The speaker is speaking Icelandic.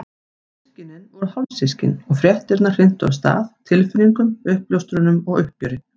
Systkinin voru hálfsystkin og fréttirnar hrintu af stað tilfinningum, uppljóstrunum og uppgjöri.